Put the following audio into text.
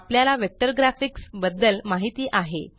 आपल्याला vector graphics बद्दल माहित आहे